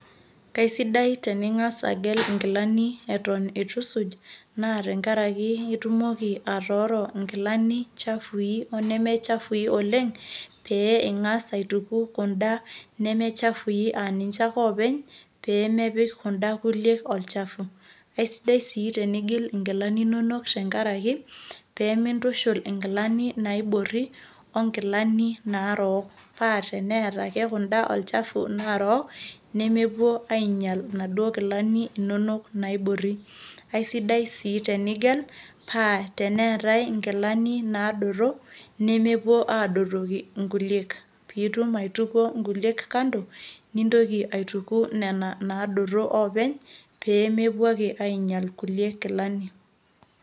kaisidai teningas agel inkilani eton eitu isuj .naa tenkaraki itumoki atooro inkilani chafui oneme chafui oleng. pee ingas aituku kuda neme chafui aa ninche ake oopeny pee mepik kuda chafui olchafu. aisidai sii tenigel, inkilani inonok tenkaraki pee mintushul inkilani naibori onkilani narook. paa teneeta ake kuda olchafu narook nemepuo aing'ial inaduoo kilani inonok naibor. aisidai sii tenigel paa teneetae inkilani naadoto nemepuo aadotoki inkuliek. pee itum aitukuo nkuliek kando, nintoki aituku nena naadoto oopeny .pee mepuo ake aingiel kulie kilani.